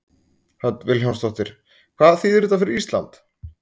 Hödd Vilhjálmsdóttir: Hvað þýðir þetta fyrir Ísland?